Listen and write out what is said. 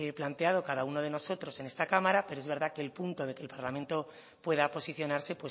planteado cada uno de nosotros en esta cámara pero es verdad que el punto de que el parlamento pueda posicionarse